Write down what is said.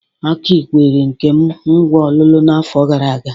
Aki kwere Nkem ngwá ọlụlụ n'afọ gara aga.